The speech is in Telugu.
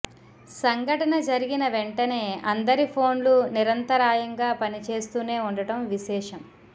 సంఘటన జరిగిన వెంటనే అందరి ఫోన్లు నిరంతరాయంగా పనిచేస్తూనే ఉండటం విశేషం